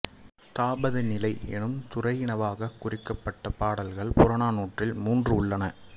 தாபதநிலை என்னும் துறையினவாகக் குறிக்கப்பட்ட பாடல்கள் புறநானூற்றில் மூன்று உள்ளன